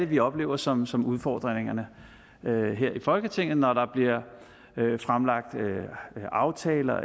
vi oplever som som udfordringerne her i folketinget når der bliver fremlagt aftaler